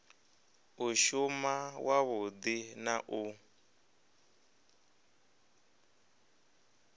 u shuma wavhudi na u